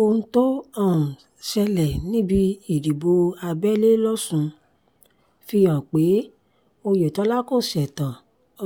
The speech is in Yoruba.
ohun tó um ṣẹlẹ̀ níbi ìdìbò abẹ́lé losùn fìhàn pé oyetola kò ṣetán